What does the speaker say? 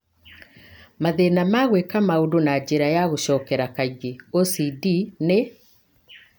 Mathĩna ma gwĩka maũndũ na njĩra ya gũcokera kaingĩ (OCD) nĩ